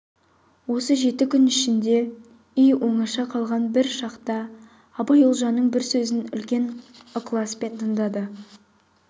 осы жеті күн ішінде үй оңаша қалған бір шақта абай ұлжанның бір сөзін үлкен ықласпен тыңдады